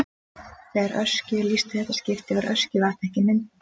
Þegar Öskju er lýst í fyrsta skipti var Öskjuvatn ekki myndað.